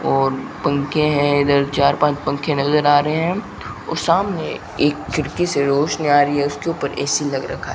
और पंखे है इधर चार पांच पंखे नजर आ रहे है और सामने एक खिड़की से रोशनी आ रही है उसके ऊपर ए_सी लग रखा --